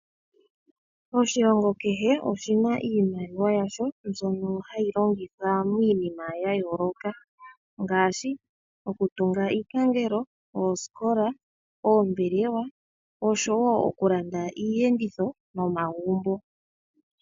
Oshilongo kehe oshi na iimaliwa yasho mbyono hayi longithwa miinima ya yooloka ngaashi okutunga iipangelo, oosikola, oombelewa oshowo okulanda iiyenditho nomagumbo.